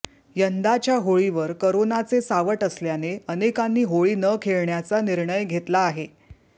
यंदाच्या होळीवर कोरोनाचे सावट असल्याने अनेकांनी होळी न खेळण्याचा निर्णय घेतला आहे